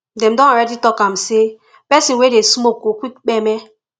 dem don already talk am say pesin wey dey smoke go quick kpeme